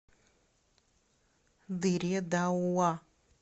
дыре дауа